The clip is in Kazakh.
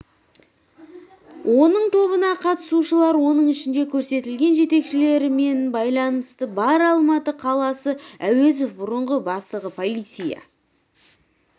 оның тобына қатысушылар оның ішінде көрсетілген жетекшілерімен байланысы бар алматы қаласы әуезов бұрынғы бастығы полиция